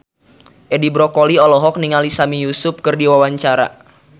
Edi Brokoli olohok ningali Sami Yusuf keur diwawancara